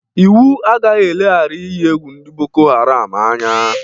Iwu agaghị eleghara inyi egwu ndị Boko haram anya.